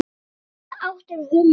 Í hvaða átt er humátt?